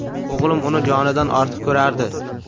O‘g‘lim uni jonidan ortiq ko‘rardi.